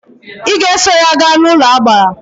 Ị ga eso ya gaa n'ụlọagbara!